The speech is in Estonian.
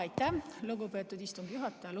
Aitäh, lugupeetud istungi juhataja!